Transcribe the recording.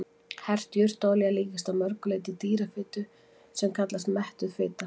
Hert jurtaolía líkist að mörgu leyti dýrafitu sem kallast mettuð fita.